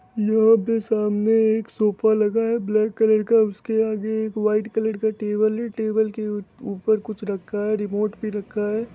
यहा पे सामने एक सोफ़ा लगा है ब्लैक कलर का उस के आगे एक व्हाइट कलर का टेबल है | टेबल के ऊपर कुछ रखा है रीमोट भी रखा है ।